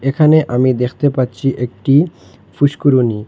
এখানে আমি দেখতে পাচ্ছি একটি ফুষ্কুরণী ।